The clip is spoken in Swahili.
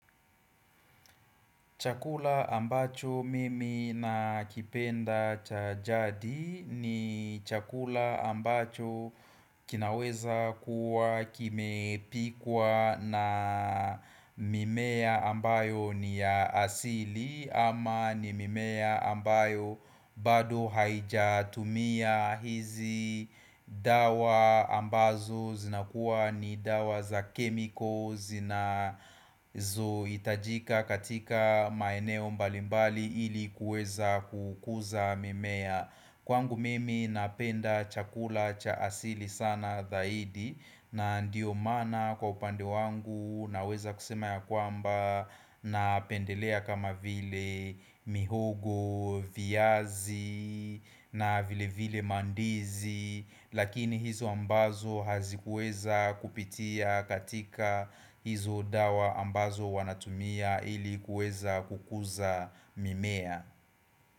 Chakula ambacho mimi nakipenda cha jadi ni chakula ambacho kinaweza kuwa kimepikwa na mimea ambayo ni ya asili ama ni mimea ambayo bado haijatumia hizi dawa ambazo zinakuwa ni dawa za kemiko zinazoitajika katika maeneo mbalimbali ili kueza kukuza mimea Kwangu mimi napenda chakula cha asili sana dhaidi na ndiyo mana kwa upande wangu naweza kusema ya kwamba na lpendelea kama vile mihogo, viazi na vile vile mandizi Lakini hizo ambazo hazikuweza kupitia katika hizo dawa ambazo wanatumia ili kuweza kukuza mimea.